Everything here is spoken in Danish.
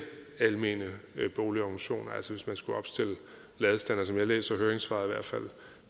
almene boligorganisationer som jeg læser høringssvaret